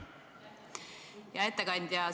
Hea ettekandja!